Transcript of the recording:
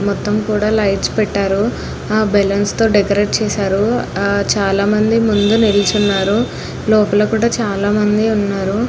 మొత్తం కూడా లైట్స్ పెట్టారు బాలలోన్స్ తో డెకరేట్ చేసారు ఆ చాల మంది ముందు నిలుచున్నారు లోపల కూడా చాల మంది ఉన్నారు.